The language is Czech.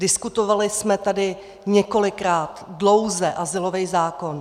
Diskutovali jsme tady několikrát dlouze azylový zákon.